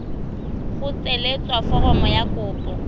go tsweletsa foromo ya kopo